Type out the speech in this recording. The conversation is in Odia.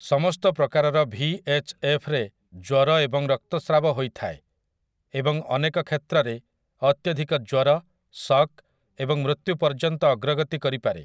ସମସ୍ତ ପ୍ରକାରର ଭିଏଚ୍ଏଫ୍ ରେ ଜ୍ୱର ଏବଂ ରକ୍ତସ୍ରାବ ହୋଇଥାଏ, ଏବଂ ଅନେକ କ୍ଷେତ୍ରରେ, ଅତ୍ୟଧିକ ଜ୍ୱର, ଶକ୍ ଏବଂ ମୃତ୍ୟୁ ପର୍ଯ୍ୟନ୍ତ ଅଗ୍ରଗତି କରିପାରେ ।